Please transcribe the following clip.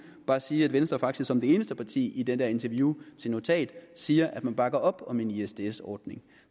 bare sige at venstre faktisk som det eneste parti i det der interview til notat siger at man bakker op om en isds isds ordning